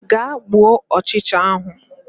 Gaa gbuo ọchịcha ahụ